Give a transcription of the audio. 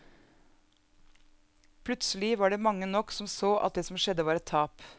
Plutselig var det mange nok som så at det som skjedde var et tap.